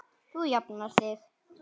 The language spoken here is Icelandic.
Þú jafnar þig.